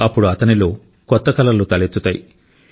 అప్పుడు అతనిలో కొత్త కలలు తలెత్తుతాయి